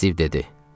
Stiv dedi.